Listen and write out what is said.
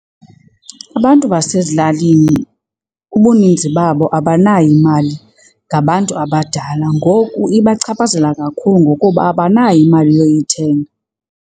Abantu basezilalini ubuninzi babo abanayo imali ngabantu abadala. Ngoku ibachaphazela kakhulu ngokuba abanayo imali yoyithenga.